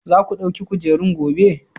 Za ku ɗauki kujerun gobe?